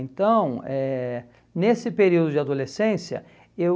Então, eh nesse período de adolescência, eu...